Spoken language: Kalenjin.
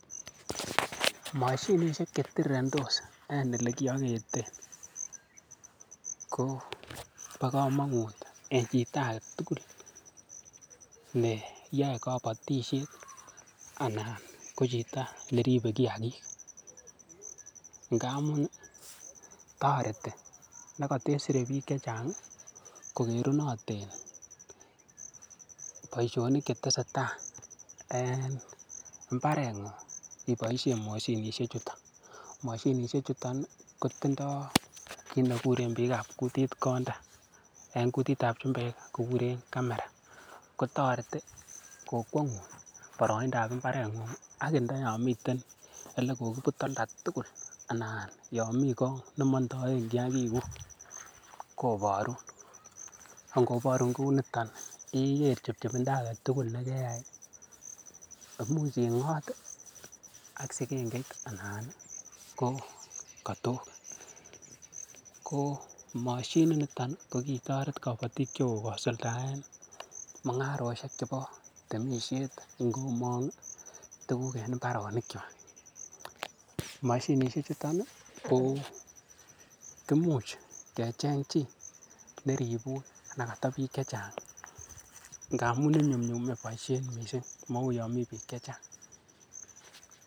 Mashinishek che tirirentos en olekiyoketen ko bo komonut eng chito age tugul ne yoe kobotishet ana ko chito neribei kiakik ngamun toreti nekatesere biik che chang kokerunoten boishonik chetesetai en mbareng'ung' iboishen mashinishek chuton, mashinishek chuton kotindoi kiit nekuren biik ab kutit konda eng kutit ap chumbek kikuren camera kotoreti kokwengun boroindap imbaret ng'ung' aki ndayo miten olekokiput olantugul anan yo mi Kong nemandaen kiakik kuk koborun ko ngoboru kuniton ikere chepchepinda agetugul nekeyai muuch ingot ak sikenget anan kokatok ko mashinit niton ko kitoret kobotik chebo kosuldaen mung'aroshek chebo temishet ngomong tukuk eng mbaronik cho mashinishek chuton koimuch kecheny chii neribun nekata biik che chang ngamun inyumnyume boishet mising mau yo mii biik che chang.